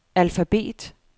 alfabet